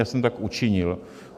Já jsem tak učinil.